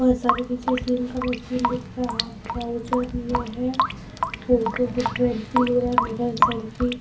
बहुत सारे पीछे जीम का मशीन दिख रहा हाथ ट्रॉउज़र में है फोटो की सेल्फी ले रहा है मिरर सेल्फी